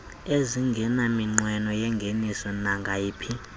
ezingenaminqweno yangeniso nangayiphi